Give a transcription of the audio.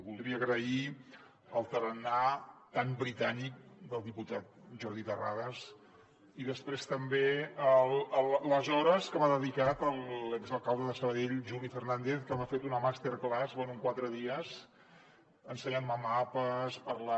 voldria agrair el tarannà tan britànic del diputat jordi terrades i després també les hores que m’ha dedicat l’exalcalde de sabadell juli fernàndez que m’ha fet una masterclass bé en quatre dies ensenyant me mapes parlant